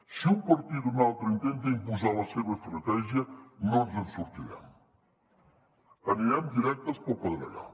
si un partit o un altre intenta imposar la seva estratègia no ens en sortirem anirem directes pel pedregar